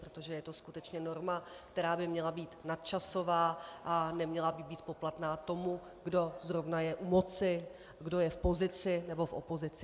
Protože je to skutečně norma, která by měla být nadčasová a neměla by být poplatná tomu, kdo zrovna je u moci, kdo je v pozici nebo v opozici.